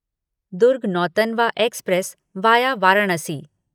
Durg Nautanwa express via Varanasi